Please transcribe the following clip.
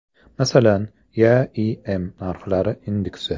Masalan, YaIM narxlari indeksi.